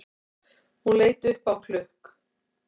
Hún leit upp á klukk